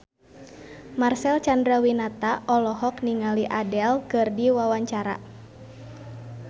Marcel Chandrawinata olohok ningali Adele keur diwawancara